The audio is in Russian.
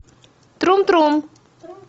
трум трум